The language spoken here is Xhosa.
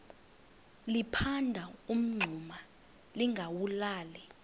liphanda umngxuma lingawulali